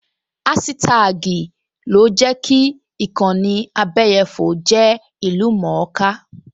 Áṣítá́àgì ni ó jẹ́ kí ìkànnì abẹyẹfò jẹ́ ìlú-mọ̀-ọ́n-ká